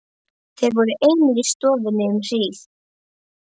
Þeir voru einir í stofunni um hríð.